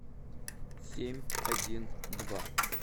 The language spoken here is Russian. семь один два